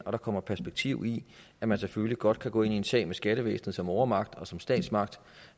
og kommer perspektiv i at man selvfølgelig godt kan gå ind i en sag med skattevæsenet som overmagt og som statsmagt